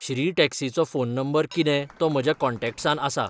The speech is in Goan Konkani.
श्री टॅक्सीचो फोन नंबर कितें तो म्हज्या कॉन्टॅक्ट्सांत आसा